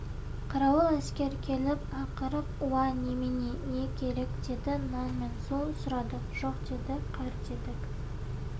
қарауыл әскер келіп ақырып уа немене не керек деді нан мен су сұрадық жоқ деді қар дедік